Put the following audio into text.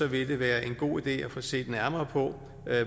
vil det være en god idé at få set nærmere på